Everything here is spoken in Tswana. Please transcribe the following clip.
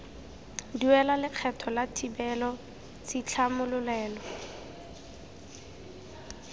duela lekgetho la thibelo tshitlhamololelo